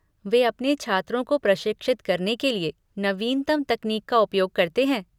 वे अपने छात्रों को प्रशिक्षित करने के लिए नवीनतम तकनीक का उपयोग करते हैं।